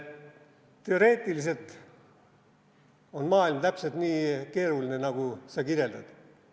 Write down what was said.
Teoreetiliselt on maailm täpselt nii keeruline, nagu sa kirjeldad.